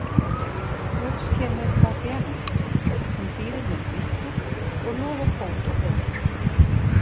Loks kemur Fabienne, hún býður mér í bíltúr og lofar bót og betrun.